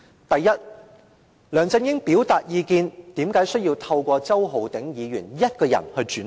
第一，梁振英要表達意見，為甚麼只透過周浩鼎議員一人轉達？